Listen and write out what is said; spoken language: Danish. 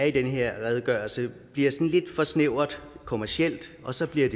i den her redegørelse bliver snæver og kommerciel og så bliver